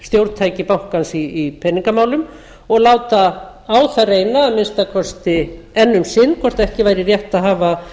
stjórntæki bankans í peningamálum og láta á það reyna að minnsta kosti enn um sinn hvort ekki væri rétt að hafa